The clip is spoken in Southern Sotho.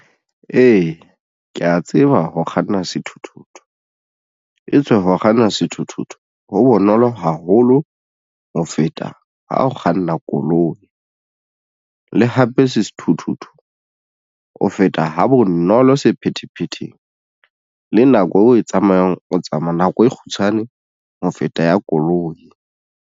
Ee, ke ya tseba ho kganna sethuthuthu e tswe ho kganna sethuthuthu ho bonolo haholo ho feta ha o kganna koloi le hape sethuthuthu o feta ha bonolo sephethephetheng le nako eo o e tsamayang o tsamaya nako e kgutshwane ho feta ya koloi.